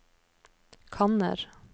kanner